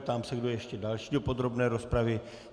Ptám se, kdo ještě další do podrobné rozpravy.